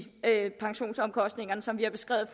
pensionsomkostningerne som vi har beskrevet i